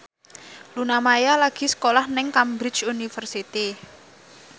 Luna Maya lagi sekolah nang Cambridge University